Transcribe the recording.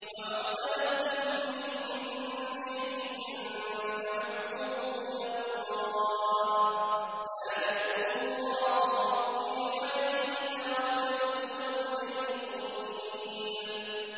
وَمَا اخْتَلَفْتُمْ فِيهِ مِن شَيْءٍ فَحُكْمُهُ إِلَى اللَّهِ ۚ ذَٰلِكُمُ اللَّهُ رَبِّي عَلَيْهِ تَوَكَّلْتُ وَإِلَيْهِ أُنِيبُ